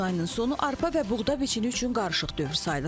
İyun ayının sonu arpa və buğda biçini üçün qarışıq dövr sayılır.